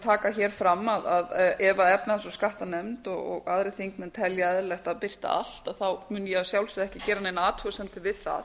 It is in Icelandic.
taka hér fram að ef efnahags og skattanefnd og aðrir þingmenn telja eðlilegt að birta allt mun að ég að sjálfsögðu ekki gera neinar athugasemdir við það